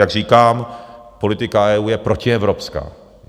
Jak říkám, politika EU je protievropská.